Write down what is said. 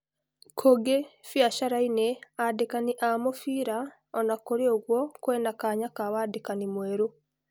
Kũngĩ biacaraini andĩkani a-mũbira, ona-kurĩ o-ũguo , kwina kanya ka-wandĩkani mwerũ.